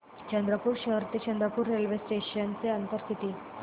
चंद्रपूर शहर ते चंद्रपुर रेल्वे स्टेशनचं अंतर किती